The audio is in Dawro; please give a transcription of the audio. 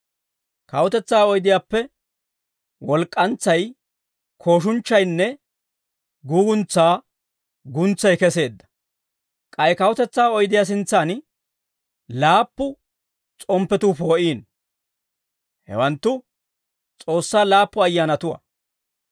Kawutetsaa oydiyaappe walk'k'antsay, kooshunchchaynne guuguntsaa guntsay keseedda; k'ay kawutetsaa oydiyaa sintsan laappu s'omppatuu poo'iino. Hewanttu S'oossaa laappu ayyaanatuwaa.